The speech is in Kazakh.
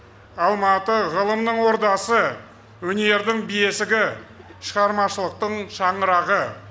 алматы ғылымның ордасы өнердің бесігі шығармашылықтың шаңырағы